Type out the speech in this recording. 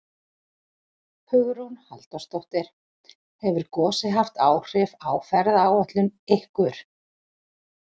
Hugrún Halldórsdóttir: Hefur gosið haft áhrif á ferðaáætlun ykkur?